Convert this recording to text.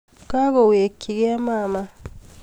Kagowechkei mama